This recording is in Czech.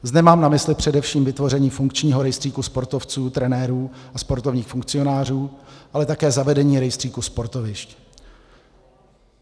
Zde mám na mysli především vytvoření funkčního rejstříku sportovců, trenérů a sportovních funkcionářů, ale také zavedení rejstříku sportovišť.